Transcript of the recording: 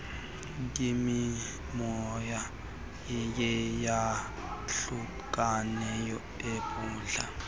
yimimoya yeyantlukwano ebhudla